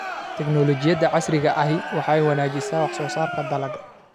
Tiknoolajiyada casriga ahi waxay wanaajisaa wax soo saarka dalagga.